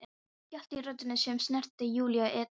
Skjálfti í röddinni sem snertir Júlíu illa.